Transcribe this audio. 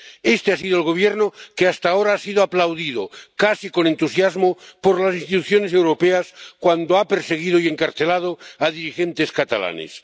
Este ha sido el Gobierno que hasta ahora ha sido aplaudido casi con entusiasmo por las instituciones europeas cuando ha perseguido y encarcelado a dirigentes catalanes.